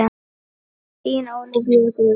Þín Ólafía Guðrún.